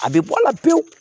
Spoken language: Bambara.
A bɛ bɔ a la pewu